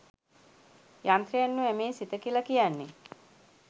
යන්ත්‍රයක් නොවැ මේ සිත කියලා කියන්නේ